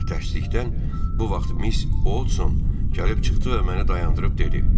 Ancaq təəssüfdən bu vaxt Miss Oldson gəlib çıxdı və məni dayandırıb dedi.